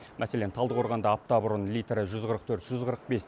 мәселен талдықорғанда апта бұрын литрі жүз қырық төрт жүз қырық бес